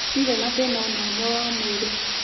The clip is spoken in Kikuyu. Ndirĩ na thĩna o na ũmwe wa mwĩrĩ.